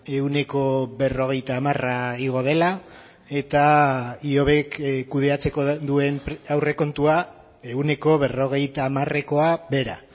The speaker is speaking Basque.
ehuneko berrogeita hamara igo dela eta ihobek kudeatzeko duen aurrekontua ehuneko berrogeita hamarekoa behera